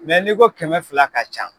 n'i ko kɛmɛ fila ka ca